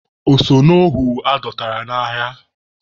O so n'ohu adọtara n'agha?